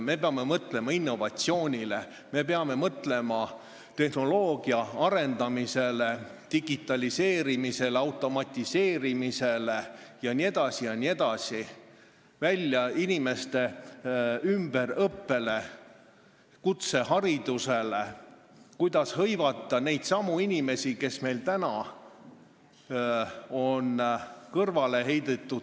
Me peame mõtlema innovatsioonile, tehnoloogia arendamisele, digitaliseerimisele, automatiseerimisele, ümberõppele, kutseharidusele, sellele, kuidas hõivata neid inimesi, kes on tööturult kõrvale heidetud.